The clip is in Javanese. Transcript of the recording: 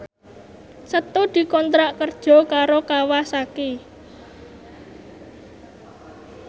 Setu dikontrak kerja karo Kawasaki